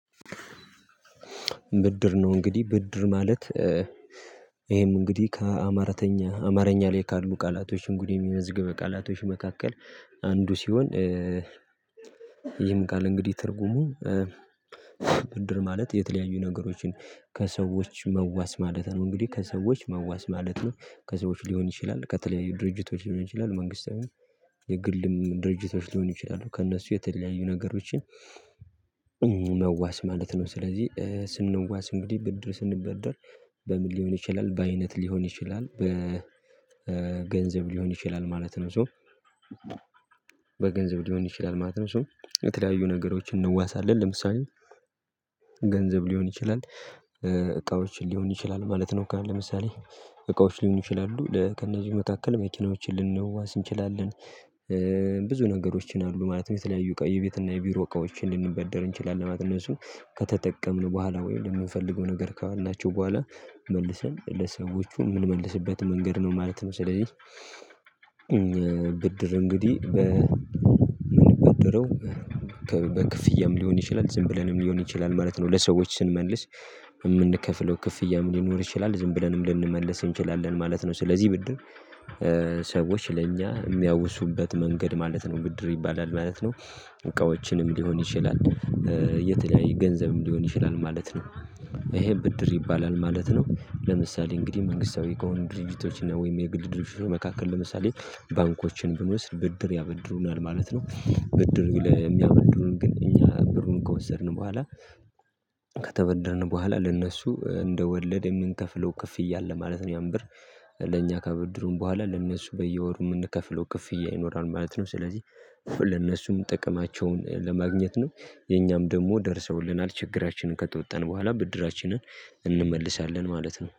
ብድር ነው እንግዲህ ብድር ማለት። ይሄም እንግዲህ ከአማራተኛ አማርኛ ላይ ካሉ ቃላቶች እንግዲህ የሚመዝግበው ቃላቶች መካከል አንዱ ሲሆን። ይህም ቃል እንግዲህ ትርጉሙ ብድር ማለት የተለያዩ ነገሮችን ከሰዎች መዋስ ማለት ነው። እንግዲህ ከሰዎች መዋስ ማለት ነው ከሰዎች ሊሆን ይችላል ከተለያዩ ድርጅቶች ሊሆን ይችላል መንግስታዊ የግልም ድርጅቶች ሊሆን ይችላሉ ከእነሱ የተለያዩ ነገሮችን መዋስ ማለት ነው። ስለዚህ ስንነዋስ እንግዲህ ብድር ስንበደር በምን ሊሆን ይችላል በአይነት ሊሆን ይችላል በገንዘብ ሊሆን ይችላል ማለት ነው። ሶ በገንዘብ ሊሆን ይችላል ማለት ነው። ሶ የተለያዩ ነገሮችን እንዋሳለን ለምሳሌ ገንዘብ ሊሆን ይችላል እቃዎች ሊሆን ይችላል ማለት ነው። ካለ ለምሳሌ እቃዎች ሊሆን ይችላሉ ለከነዚህ መካከል መኪናዎችን ልንዋስ እንችላለን። ነገሮችን አሉ ማለትም የተለያዩ ቀይ ቤት እና የቢሮ እቃዎችን ልንበደር እንችላለን። ማለት እነሱ ከተጠቀምን በኋላ ወይ ለምንፈልገው ነገር ካዋልናቸው በኋላ መልሰን ለሰዎቹ የምንመልስበት መንገድ ነው ማለት መሰለኝ። እ ብድር እንግዲህ በምንበደረው በክፍያ ሊሆን ይችላል ዝም ብለንም ሊሆን ይችላል ማለት ነው። ለሰዎች ስንመልስ የምንከፍለው ክፍያም ሊኖር ይችላል ዝም ብለንም ልንመለስ እንችላለን ማለት ነው። ስለዚህ ብድር ሰዎች ለእኛ የሚያውሱበት መንገድ ማለት ነው ብድር ይባላል ማለት ነው። እቃዎችንም ሊሆን ይችላል የተለያየ ገንዘብም ሊሆን ይችላል ማለት ነው። ይሄ ብድር ይባላል ማለት ነው። ለምሳሌ እንግዲህ መንግስታዊ ከሆኑ ድርጅቶች እና ወይም የግድ ድርጅቶች መካከል ለምሳሌ ባንኮችን ብንወስድ ብድር ያበድሩናል ማለት ነው። ብድር የሚያበድሩን ግን እኛ ብሩን ከወሰድን በኋላ ከተበደርነ በኋላ ለእነሱ እንደ ወለድ የምንከፍለው ክፍያ አለ ማለት ነው። ያን ብር ለእኛ ከበድሩን በኋላ ለእነሱ በየወሩ የምንከፍለው ክፍያ ይኖራል ማለት ነው። ስለዚህ ለእነሱም ጥቅማቸውን ለማግኘት ነው የኛም ደግሞ ደርሰውልናል ችግራችንን ከተወጣን በኋላ ብድራችንን እንመልሳለን ማለት ነው